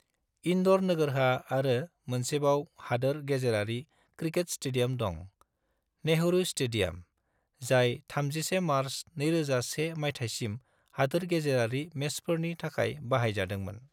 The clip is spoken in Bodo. इंदौर नोगोरहा आरो मोनसेबाव हादोर-गेजेरारि क्रिकेट स्टेडियाम दं, "नेहरू स्टेडियाम", जाय 31 मार्च 2001 मायथायसिम हादोर-गेजेरारि मेचफोरनि थाखाय बाहायजादोंमोन।